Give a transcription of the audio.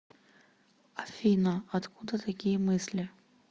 афина откуда такие мысли